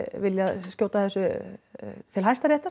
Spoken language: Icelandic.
viljað skjóta þessu til